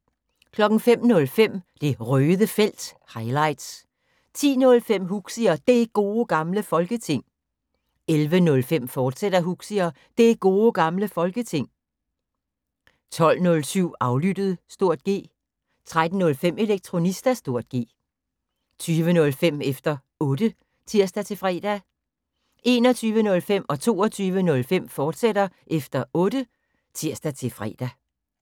05:05: Det Røde Felt – highlights 10:05: Huxi og Det Gode Gamle Folketing 11:05: Huxi og Det Gode Gamle Folketing, fortsat 12:07: Aflyttet (G) 13:05: Elektronista (G) 20:05: Efter Otte (tir-fre) 21:05: Efter Otte, fortsat (tir-fre) 22:05: Efter Otte, fortsat (tir-fre)